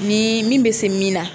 Ni min bɛ se min na